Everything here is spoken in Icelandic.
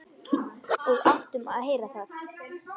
Og áttum að heyra það.